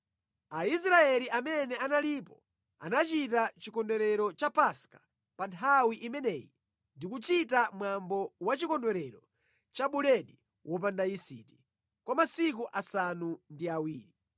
Aisraeli amene analipo anachita chikondwerero cha Paska pa nthawi imeneyi ndi kuchita mwambo wa chikondwerero cha Buledi Wopanda Yisiti, kwa masiku asanu ndi awiri.